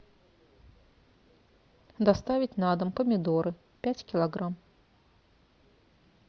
доставить на дом помидоры пять килограмм